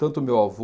Tanto o meu avô,